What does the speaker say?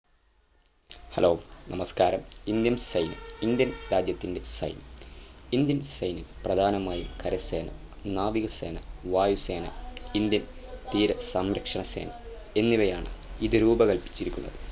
Hello നമസ്‌കാരം Indian സൈന്യം Indian രാജ്യത്തിൻ്റെ സൈന്യം Indian സൈന്യം പ്രധാനമായും കരസേന നാവിസേന വായുസേന Indian തീര സംരക്ഷണ സേന എന്നിവയാണ് ഇത് രൂപകൽപിച്ചിരിക്കുന്നത്